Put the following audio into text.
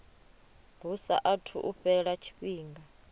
hu saathu u fhela tshifhinga